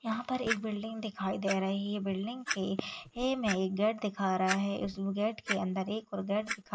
यहाँ पर एक बिल्डिंग दिखाई दे रही है बिल्डिंग के ए में एक गेट दिखा रहा है उसमें गेट के अंदर एक और गेट --